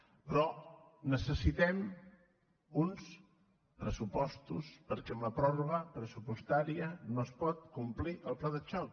però necessitem uns pressupostos perquè amb la pròrroga pressupostària no es pot complir el pla de xoc